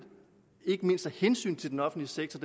ikke mindst af hensyn til den offentlige sektor